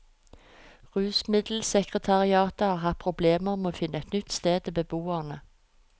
Rusmiddelsekretariatet har hatt problemer med å finne et nytt sted til beboerne.